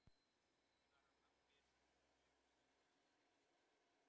Ekki var hann pabbi rúinn hæfileikum þótt hann hafi farið illa með þá.